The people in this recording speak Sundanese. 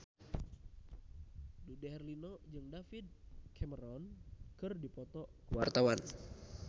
Dude Herlino jeung David Cameron keur dipoto ku wartawan